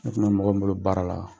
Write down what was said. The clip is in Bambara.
Ne fana bɛ mɔgɔ min bolo baara la,